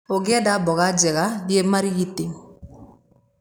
ũngĩenda mboga njega thiĩ Marigiti